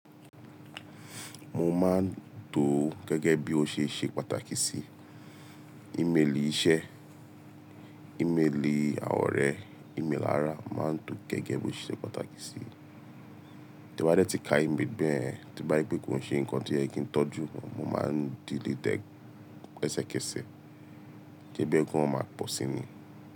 Mo máa ń to gẹ́gẹ́ bí ó ṣe ṣe pàtàkì sí i. Íméèlì iṣẹ́, íméèlì àwọ̀n orẹ́, íméèlì ara, mo máa ń to gẹ́gẹ́ bí ó ṣe se pàtàkì sí i. Tí mo bá dẹ́ ti ka íméèlì bẹ́ẹ̀, tí mo bá rí pé kò ṣe nǹkan tí ó yẹ kí n tọ́jú, mo máa ń delete ẹsẹkẹsẹ kí ẹgbẹ́ ki wọn máa pọ̀ sí ni.